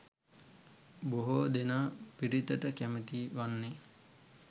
බොහෝ දෙනා පිරිතට කැමැති වන්නේ